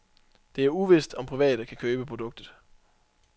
Det er uvidst, om private kan købe produktet.